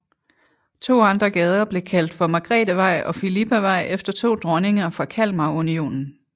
To andre gader blev kaldt for Margrethevej og Fillipavej efter to dronninger fra Kalmarunionen